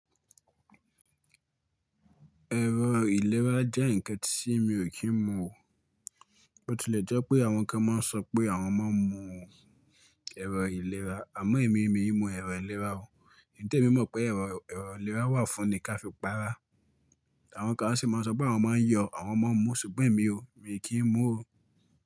Ẹ̀rọ ìlera jẹ́ ǹkan tí mi ò kí ń mu o. Ó tilẹ̀ jẹ́ pé àwọn kan máa ń sọ pé àwọn máa ń mu ẹ̀rọ ìlera, àmọ́ èmi, mii mu ẹ̀rọ ìlera o. Nte mi mọ̀ pé ẹ̀rọ ìlera wà fún ni ka fi pa ara. Àwọn kan a sì máa ń sọ pé àwọn máa ń yọ̀, àwọn máa ń mu, ṣùgbọ́n èmi o, mii kì n mu o.